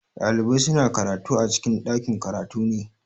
Ɗalibai suna karatu a cikin ɗakin-karatu ne.